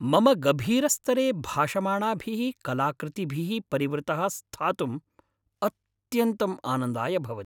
मम गभीरस्तरे भाषमाणाभिः कलाकृतिभिः परिवृतः स्थातुं अत्यन्तं आनन्दाय भवति।